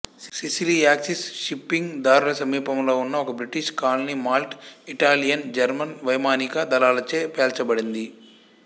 Sicily Axis shipping దారుల సమీపంలో ఉన్న ఒక British colony Malta Italian German వైమానిక దళాలచే పేల్చబడింది